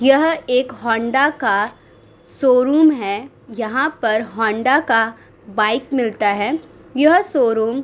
यह एक हौंडा का शोरूम है। यहाँ पर हौंडा का बाइक मिलता है। यह शोरूम --